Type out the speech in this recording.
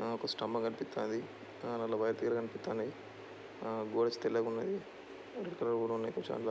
ఆ ఒక స్టమ్మ కనిపిత్తాంది. ఆ నల్ల వైర్ తీగలు కనిపిత్తాన్నాయ్. ఆ గోడచ్చి తెల్లగున్నది. ఎరుపు కలర్ కూడా ఉన్నాయ్.